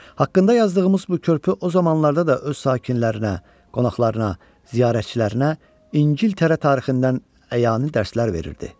Haqqında yazdığımız bu körpü o zamanlarda da öz sakinlərinə, qonaqlarına, ziyarətçilərinə İngiltərə tarixindən əyani dərslər verirdi.